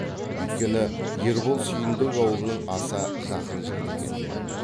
үйткені ербол сүйіндік аулының аса жақын жігіті екен